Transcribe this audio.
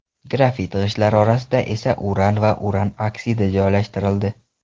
Grafit g‘ishtlar orasida esa uran va uran oksidi joylashtirildi.